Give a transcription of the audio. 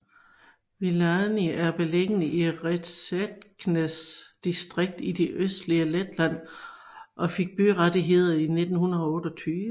Viļāni er beliggende i Rēzeknes distrikt i det østlige Letland og fik byrettigheder i 1928